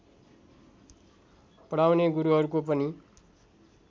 पढाउने गुरुहरुको पनि